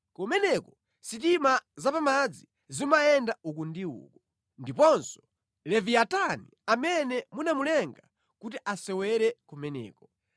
Kumeneko sitima zapamadzi zimayenda uku ndi uku, ndiponso Leviyatani amene munamulenga kuti asewere kumeneko.